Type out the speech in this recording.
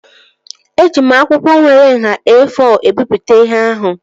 Eji m akwụkwọ nwere nhá E-fọ ebipụta ihe ahụ